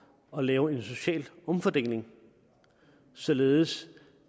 at lave en social omfordeling således